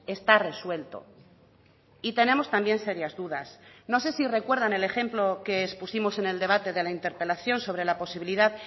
está resuelto y tenemos también serias dudas no sé si recuerdan el ejemplo que expusimos en el debate de la interpelación sobre la posibilidad